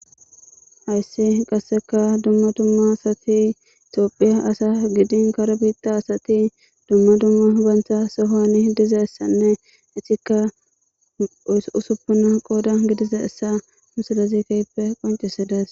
Hayissi qasika duma duma asati tophiya asa gidin kare bitha asati duma duma bantha sohon dizayissanne etika qodan usupuna misilezi kehippe qoncides